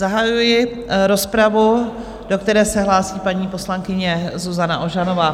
Zahajuji rozpravu, do které se hlásí paní poslankyně Zuzana Ožanová.